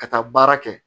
Ka taa baara kɛ